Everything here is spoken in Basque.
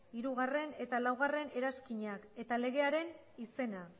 hirugarrena eta laugarrena eranskinak eta legearen izena